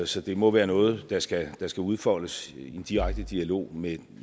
så det må være noget der skal der skal udfoldes i en direkte dialog med